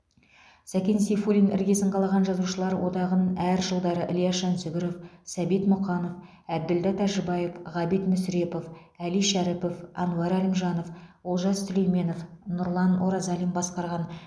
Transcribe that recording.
сәкен сейфуллин іргесін қалаған жазушылар одағын әр жылдары ілияс жансүгіров сәбит мұқанов әбділда тәжібаев ғабит мүсірепов әли шәріпов әнуар әлімжанов олжас сүлейменов нұрлан оразалин басқарған